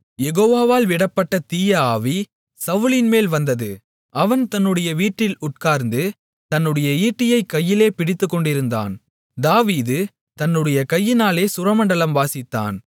யெகோவாவால் விடப்பட்ட தீய ஆவி சவுலின்மேல் வந்தது அவன் தன்னுடைய வீட்டில் உட்கார்ந்து தன்னுடைய ஈட்டியைக் கையிலே பிடித்துக்கொண்டிருந்தான் தாவீது தன்னுடைய கையினாலே சுரமண்டலம் வாசித்தான்